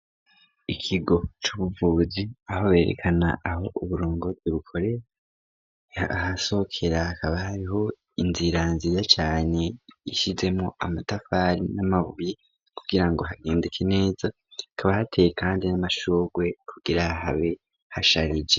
Ikigo c'ubuvuzi aho berekana aho uburongozi bukorera ahasokera hakaba hariho inzira nziza cane ishizemwo amatafari n'amabuye kugirango hagendeke neza kaba hateye kandi n'amashugwe kugira habe hasharije.